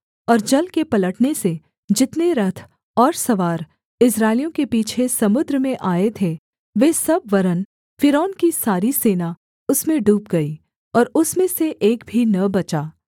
और जल के पलटने से जितने रथ और सवार इस्राएलियों के पीछे समुद्र में आए थे वे सब वरन् फ़िरौन की सारी सेना उसमें डूब गई और उसमें से एक भी न बचा